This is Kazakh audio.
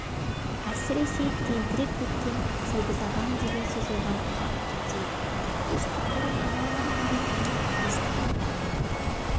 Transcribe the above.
әсіресе тентіреп кеткен сегіз ағаң деген сөз оған қатты тиеді төстік бұрын ағалары бар екенін естіген